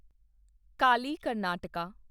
Kali Karnataka